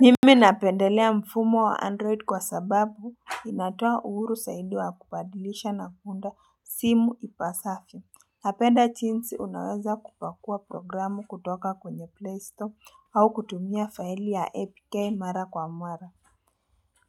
Mimi napendelea mfumo wa android kwa sababu inatoa uhuru saidi wa kupadilisha na kuunda simu ipasavyo napenda chinsi unaweza kupakua programu kutoka kwenye play store au kutumia fasili ya APK mara kwa mwara